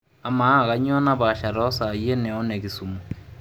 amaa kanyoo napaasha too isai ene oo ine kisumu